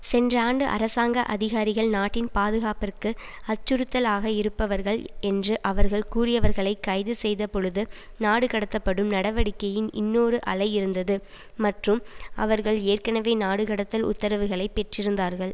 சென்ற ஆண்டு அரசாங்க அதிகாரிகள் நாட்டின் பாதுகாப்பிற்கு அச்சுறுத்தல் ஆக இருப்பவர்கள் என்று அவர்கள் கூறியவர்களைக் கைது செய்த பொழுது நாடுகடத்தப்படும் நடவடிக்கையின் இன்னொரு அலை இருந்தது மற்றும் அவர்கள் ஏற்கனவே நாடுகடத்தல் உத்தரவுகளை பெற்றிருந்தார்கள்